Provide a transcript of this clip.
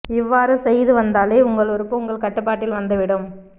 இவ்வாறு செய்து வந்தாலே உங்கள் உறுப்பு உங்கள் கட்டுபாட்டில் வந்துவிடும்